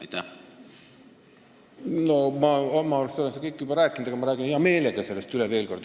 Ma olen oma arust seda kõike juba rääkinud, aga ma räägin sellest hea meelega veel kord.